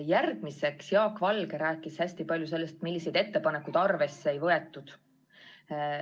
Jaak Valge rääkis hästi palju sellest, milliseid ettepanekuid arvesse ei võetud.